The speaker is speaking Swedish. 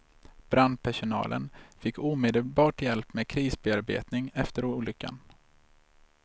Brandpersonalen fick omedelbart hjälp med krisbearbetning efter olyckan.